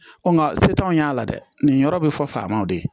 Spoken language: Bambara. nka se t'anw y'a la dɛ nin yɔrɔ bɛ fɔ faamaw de ye